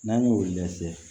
N'an y'o weele sɛ